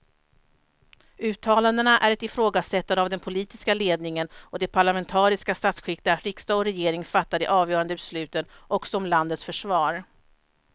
Uttalandena är ett ifrågasättande av den politiska ledningen och det parlamentariska statsskick där riksdag och regering fattar de avgörande besluten också om landets försvar.